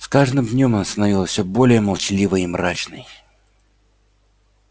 с каждым днём она становилась всё более молчаливой и мрачной